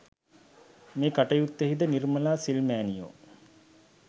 මේ කටයුත්තෙහිද නිර්මලා සිල් මෑණියෝ